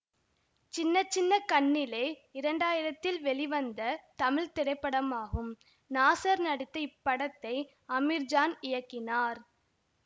சின்ன சின்ன கண்ணிலே இரண்டாயிரத்தில் வெளிவந்த தமிழ் திரைப்படமாகும் நாசர் நடித்த இப்படத்தை அமீர்ஜான் இயக்கினார்